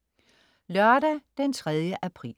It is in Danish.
Lørdag den 3. april